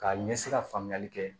K'a ɲɛsi ka faamuyali kɛ